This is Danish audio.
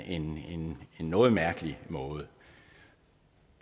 noget mærkelig noget